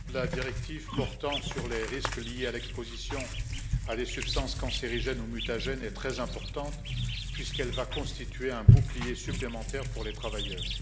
Madame la Présidente, la directive portant sur les risques liés à l'exposition à des substances cancérigènes ou mutagènes est très importante puisqu'elle va constituer un bouclier supplémentaire pour les travailleurs.